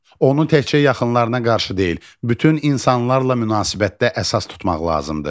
Onu təkcə yaxınlarına qarşı deyil, bütün insanlarla münasibətdə əsas tutmaq lazımdır.